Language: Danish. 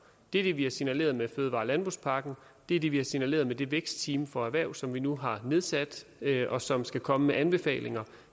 det er det vi har signaleret med fødevare og landbrugspakken og det er det vi har signaleret med det vækstteam for erhvervet som vi nu har nedsat og som skal komme med anbefalinger